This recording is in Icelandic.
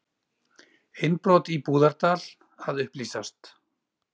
Innbrot í Búðardal að upplýsast